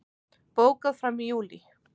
Bókað fram í júlí